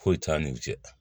Foyi t'an n'u cɛ